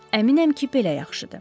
Əminəm ki, belə yaxşıdır.